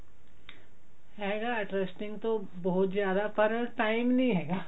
ਹੈਗਾ interesting ਤਾਂ ਬਹੁਤ ਜਿਆਦਾ ਪਰ ਤਿਮਰ ਨੀ ਹੈਗਾ